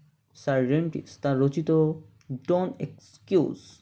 sir রেন্টিক্স তার রচিত Don't excuse